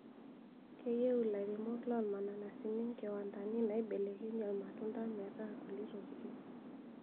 Keyieu ilairemok lormananasi inkiwandani naiebelekenyie ilmatunda metaa kulie tokitin